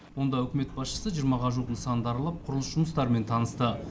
онда үкімет басшысы жиырмаға жуық нысанды аралап құрылыс жұмыстарымен танысты